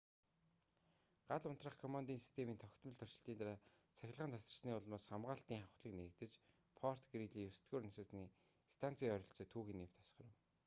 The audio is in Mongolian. гал унтраах командын системийн тогтмол туршилтын дараа цахилгаан тасарсны улмаас хамгаалалтын хавхлаг нээгдэж форт грийли 9-р насосны станцын ойролцоо түүхий нефть асгарав